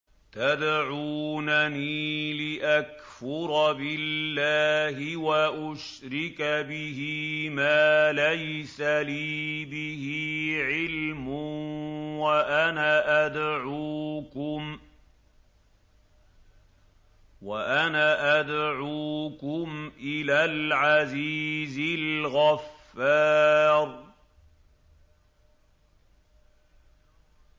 تَدْعُونَنِي لِأَكْفُرَ بِاللَّهِ وَأُشْرِكَ بِهِ مَا لَيْسَ لِي بِهِ عِلْمٌ وَأَنَا أَدْعُوكُمْ إِلَى الْعَزِيزِ الْغَفَّارِ